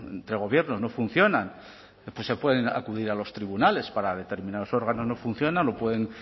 entre gobiernos no funcionan pues se puede acudir a los tribunales para determinados órganos no funciona lo pueden